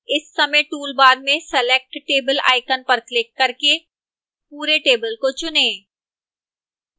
इस समय toolbar में select table icon पर क्लिक करके पूरे table को चुनें